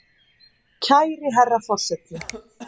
Kæri herra forseti!